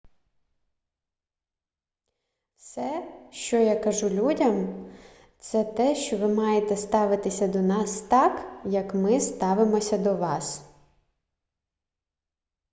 все що я кажу людям - це те що ви маєте ставитися до нас так як ми ставимося до вас